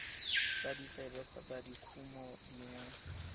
tsa ditsebe kgotsa dikumo dingwe